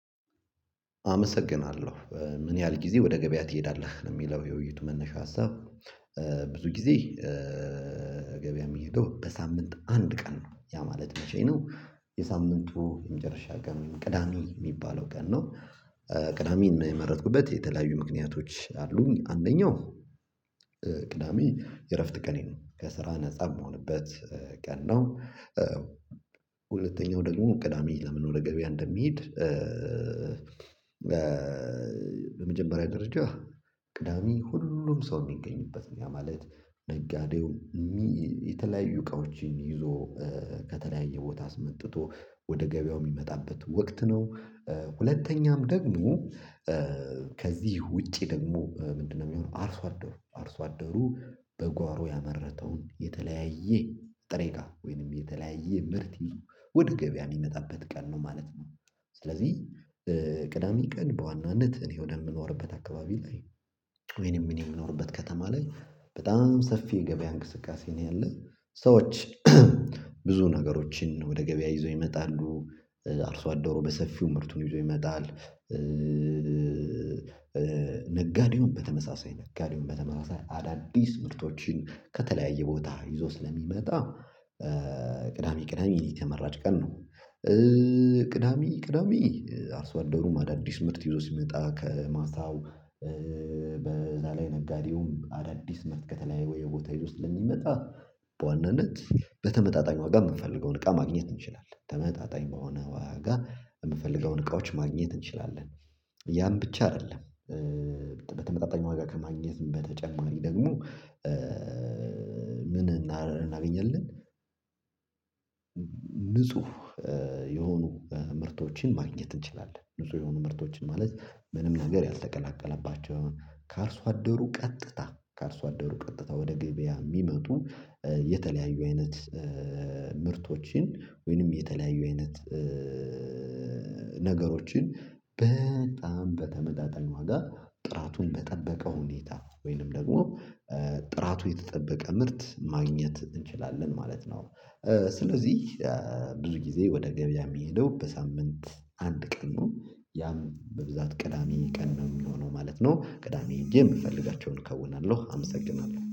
አመሰግናለሁ ምን ያህል ጊዜ ወደ ገበያ ትሄዳለህ የሚለው የውይይት መነሻ ሀሳብ? ብዙ ጊዜ ገበያ የሚሄደው በሳምንት አንድ ቀን ነው። ያ ማለት መቼ ነው? የሳምንቱ የመጀመሪያ ቀን ቅዳሜ የሚባለው ቀን ነው። ቅዳሜን የመረጥኩበት የተለያዩ ምክንያቶች አሉኝ አንደኛው ቅዳሜ የእረፍት ቀኔ ነው ከስራ ነፃ የምሆንበት ቀን ነው። ሁለተኛው ደግሞ ቅዳሜ ለምን ወደ ገበያ እንደሚሄድ። በመጀመሪያ ደረጃ ቅዳሜ ሁሉም ሰው የሚገኝበት ነው ያ ማለት ደጋዴው የተለያዩ እቃዎችን ይዞ ከተለያየ ቦታ አስመጥቶ ወደ ገበያው የሚመጣበት ወቅት ነው። ሁለተኛም ደግሞ ከዚህ ውጪ ደግሞ ምንድነው? የሚሆነው አርሶ አደሩ አርሶ አደሩ በጓሮ ያመረተውን የተለያየ ጥሬቃ ወይንም የተለያየ ምርት ይዞ ወደ ገበያ የሚመጣበት ቀን ነው ማለት ነው። ስለዚህ ቅዳሜ ቀን በዋናነት እኔ ወደምኖርበት አካባቢ ላይ ወይንም እኔ የምኖርበት ከተማ ላይ በጣም ሰፊ የገበያ እንቅስቃሴ ነው ያለው። ሰዎች ብዙ ነገሮችን ወደ ገበያ ይዘው ይመጣሉ አርሶ አደሩ በሰፊው ምርቱን ይዞ ይመጣል። ነጋዴውን በተመሳሳይ ነጋዴውን በተመሳሳይ አዳዲስ ምርቶችን ከተለያየ ቦታ ይዞ ስለሚመጣ ቅዳሜ የተመራጭ ቀን ነው። ቅዳሜ ቅዳሜ አርሶ አደሩ ማዳዲስ ምርት ይዞ ሲመጣ ከማታው በዛ ላይ ነጋዴውም አዳዲስ ምርት ከተለያዩ ወይ የቦታ ውስጥ ለሚመጣ በዋናነት በተመጣጣኝ ዋጋ የምፈልገውን እቃ ማግኘት እንችላለን ተመጣጣኝ በሆነ ዋጋ የምፈልገውን እቃዎች ማግኘት እንችላለን። ያን ብቻ አይደለም። በተመጣጣኝ ዋጋ ከማግኘት በተጨማሪ ደግሞ ምን እናገኛለን? ንጹህ የሆኑ ምርቶችን ማግኘት እንችላለን። ንጹህ የሆኑ ምርቶችን ማለት ምንም ነገር ያልተቀላቀለባቸው አሁን ካርሶ አደሩ ቀጥታ ካርሶ አደሩ ቀጥታ ወደ ገብያ የሚመጡ የተለያዩ አይነት ምርቶችን ወይንም የተለያዩ አይነት ነገሮችን በጣም በተመጣጣን ዋጋ ጥራቱን በጠበቀ ሁኔታ ወይንም ደግሞ ጥራቱ የተጠበቀ ምርት ማግኘት እንችላለን ማለት ነው። ስለዚህ ብዙ ጊዜ ወደ ገበያ የሚሄደው በሳምንት አንድ ቀኑ ያም በብዛት ቅዳሜ ቀን ነው የሚሆነው ማለት ነው። ቅዳሜ የምፈልጋቸውን እከውናለሁ። አመሰግናለሁ